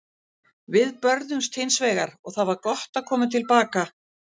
Við börðumst hins vegar og það var gott að koma til baka.